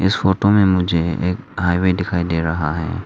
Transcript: इस फोटो में मुझे एक हाईवे दिखाई दे रहा है।